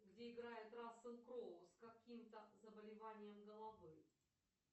где играет рассел кроу с каким то заболеванием головы